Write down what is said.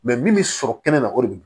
min bɛ sɔrɔ kɛnɛma o de bi